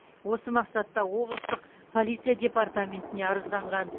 осы мақсатта облыстық полиция департаментіне арызданған